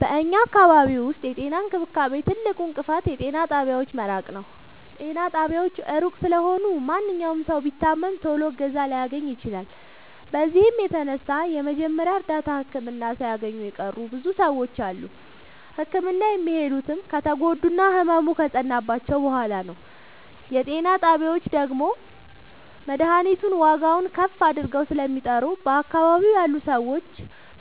በኛ አካባቢ ዉስጥ የጤና እንክብካቤ ትልቁ እንቅፋት የጤና ጣቢያዎች መራቅ ነዉ። ጤና ጣቢያዎች እሩቅ ስለሆኑ ማንኛዉም ሠዉ ቢታመም ቶሎ እገዛ ላያገኝ ይችላል። በዚህም የተነሣ የመጀመሪያ እርዳታ ህክምና ሣያገኙ የቀሩ ብዙ ሰዎች አሉ። ህክምና የሚሄዱትም ከተጎዱና ህመሙ ከፀናባቸዉ በሗላ ነዉ። የጤና ጣቢያዎች ደግሞ መድሀኒቱን ዋጋዉን ከፍ አድርገዉ ስለሚጠሩ በአካባቢዉ ያሉ ሠዎች